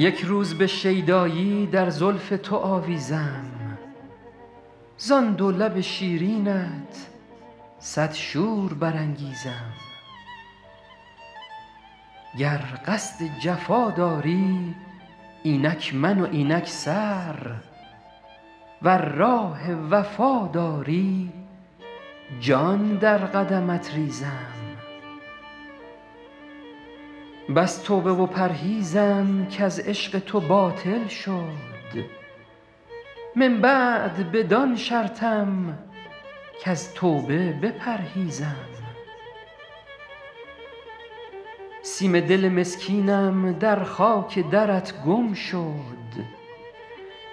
یک روز به شیدایی در زلف تو آویزم زان دو لب شیرینت صد شور برانگیزم گر قصد جفا داری اینک من و اینک سر ور راه وفا داری جان در قدمت ریزم بس توبه و پرهیزم کز عشق تو باطل شد من بعد بدان شرطم کز توبه بپرهیزم سیم دل مسکینم در خاک درت گم شد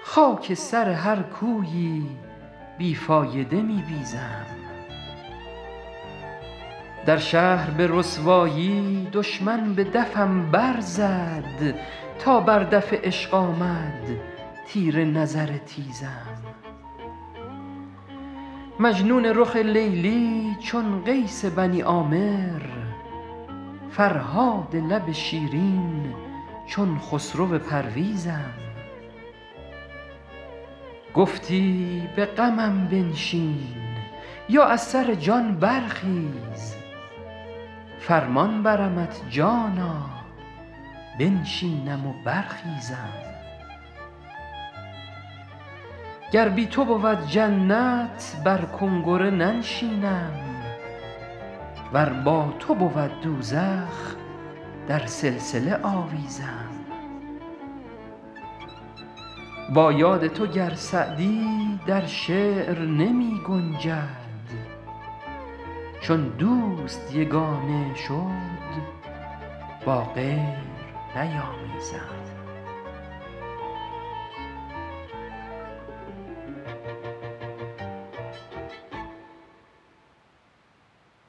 خاک سر هر کویی بی فایده می بیزم در شهر به رسوایی دشمن به دفم برزد تا بر دف عشق آمد تیر نظر تیزم مجنون رخ لیلی چون قیس بنی عامر فرهاد لب شیرین چون خسرو پرویزم گفتی به غمم بنشین یا از سر جان برخیز فرمان برمت جانا بنشینم و برخیزم گر بی تو بود جنت بر کنگره ننشینم ور با تو بود دوزخ در سلسله آویزم با یاد تو گر سعدی در شعر نمی گنجد چون دوست یگانه شد با غیر نیامیزم